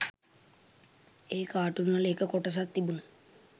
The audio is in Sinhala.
ඒ කාටුන්වල එක කොටසක් තිබුන